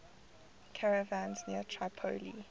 caravans near tripoli